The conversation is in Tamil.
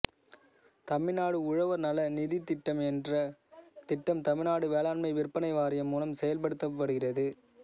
தமிழ்நாடு உழவர் நல நிதித் திட்டம் என்ற திட்டம் தமிழ்நாடு வேளாண்மை விற்பனை வாாியம் மூலம் செயல்படுத்தப்படுகிறது